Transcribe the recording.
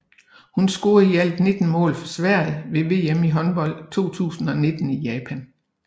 Hun scorede i alt 19 mål for Sverige ved VM i håndbold 2019 i Japan